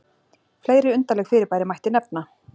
Fleiri undarleg fyrirbæri mætti nefna.